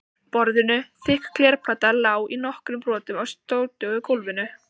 borðinu, þykk glerplatan lá í nokkrum brotum á sótugu gólfinu.